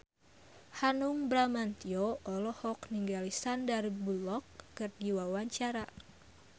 Hanung Bramantyo olohok ningali Sandar Bullock keur diwawancara